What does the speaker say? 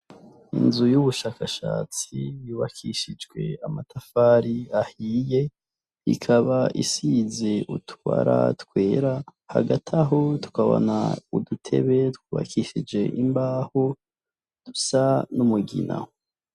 Inzu yubushakashatsi yubakishijwe amatafari ahiye ikaba isize utubara twera hagataho tukabona udutebe twubakishije imbaho dusa n'umugina.